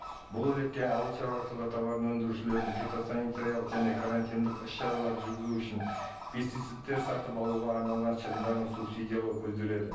бұл ретте ауылшаруашылығы тауарын өндірушілердің фитосанитариялық және карантиндік іс шаралар жүргізу үшін пестицидтер сатып алуға арналған шығындарын субсидиялау көзделеді